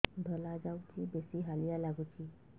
ଧଳା ଯାଉଛି ବେଶି ହାଲିଆ ଲାଗୁଚି